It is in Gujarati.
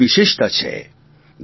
ભારતની વિશેષતા છે